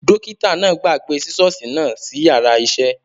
Dókítà náà gbàgbé sisosi náà sí yàrá isẹ